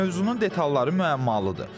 Mövzunun detalları müəmmalıdır.